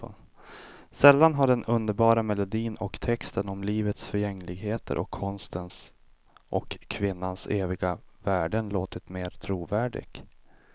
Sällan har den underbara melodin och texten om livets förgängligheten och konstens och kvinnans eviga värden låtit mera trovärdig.